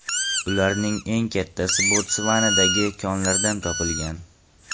Ularning eng kattasi Botsvanadagi konlardan topilgan.